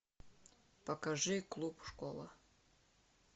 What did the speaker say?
покажи клуб школа